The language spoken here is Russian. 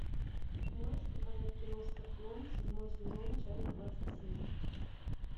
можешь показать кино скорпион седьмой сезон часть двадцать семь